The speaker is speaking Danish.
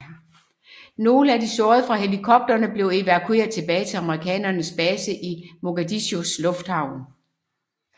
Nogle af de sårede fra helikopterne blev evakueret tilbage til amerikanernes base i Mogadishus lufthavn